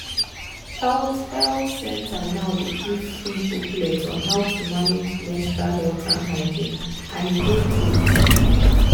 health health center now dey give free booklet on how to manage menstrual health and hygiene and e dey great.